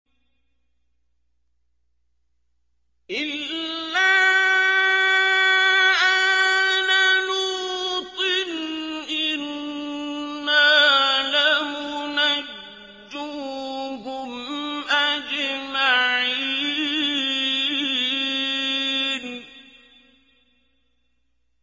إِلَّا آلَ لُوطٍ إِنَّا لَمُنَجُّوهُمْ أَجْمَعِينَ